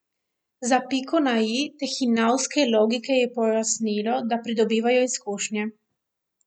Za piko na i te hinavske logike je pojasnilo, da pridobivajo izkušnje.